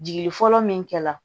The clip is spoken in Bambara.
Jigi fɔlɔ min kɛra